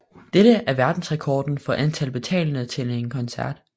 Dette er verdensrekorden for antal betalende til en koncert